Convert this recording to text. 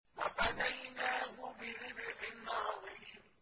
وَفَدَيْنَاهُ بِذِبْحٍ عَظِيمٍ